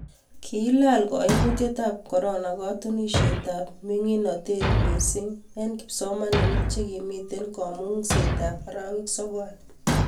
kiilal kaimutietab korona katunisietab mining'notet mising' eng' kipsomaninik che kimito kamung'isietab arawek sokol